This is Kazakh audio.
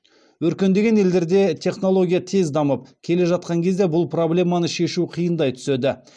өркендеген елдерде технология тез дамып келе жатқан кезде бұл проблеманы шешу қиындай түседі